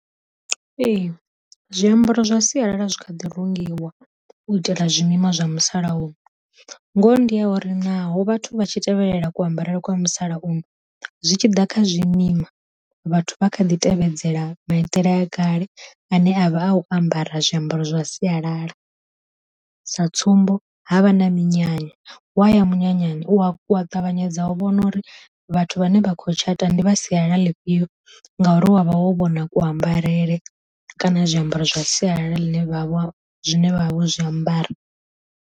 Ee zwiambaro zwa sialala zwi kha ḓi rungiwa u itela zwi mima zwa musalauno, ngoho ndi ya uri naho vhathu vha tshi tevhelela ku ambarele kwa musalauno zwi tshi ḓa kha zwi mima vhathu vha kha ḓi tevhedzela maitele a kale ane avha a u ambara zwiambaro zwa sialala, sa tsumbo havha na minyanya, waya munyanyani u a kwa ṱavhanyedza u vhona uri vhathu vhane vhakho tshata ndi vha sialala ḽifhio ngauri wavha wo vhona ku ambarele kana zwiambaro zwa sialala ḽine vhavha zwine vha vha vho zwi ambara.